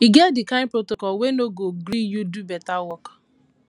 e get di kain protocol we no go gree you do beta work